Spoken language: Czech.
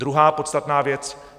Druhá podstatná věc.